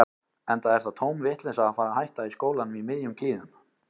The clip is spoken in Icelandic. Enda er það tóm vitleysa að fara að hætta í skólanum í miðjum klíðum.